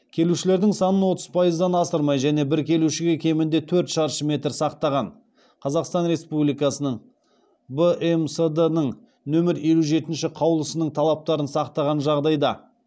келушілердің санын отыз пайыздан асырмай және бір келушіге кемінде төрт шаршы метр сақтаған қазақстан республикасының бмсд ның нөмір елу жетінші қаулысының талаптарын сақтаған жағдайда